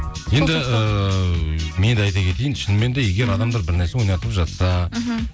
енді ііі мен де айта кетейін шынымен де егер адамдар бір нәрсе ойнатып жатса мхм